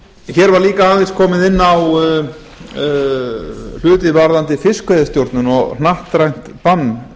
hér var líka aðeins komið inn á hluti varðandi fiskveiðistjórnun og hnattrænt bann